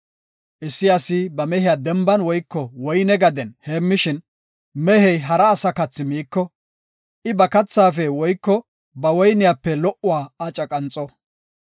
“Issi asi ba mehiya denban woyko woyne gaden heemmishin, mehey hara asa kathi miiko, I ba kathaafe woyko ba woyniyape lo77uwa aca qanxo.